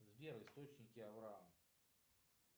сбер источники авраам